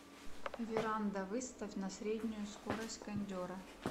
веранда выставь на среднюю скорость кондера